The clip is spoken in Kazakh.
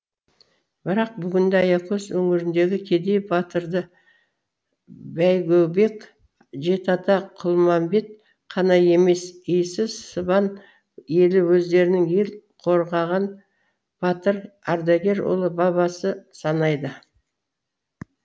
бірақ бүгінде аякөз өңіріндегі кедей батырды бәйгөбек жеті ата құлмамбет қана емес иісі сыбан елі өздерінің ел қорғаған батыр ардагер ұлы бабасы санайды